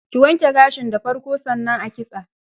Ki wanke gashin da farko, sannan a kitsa.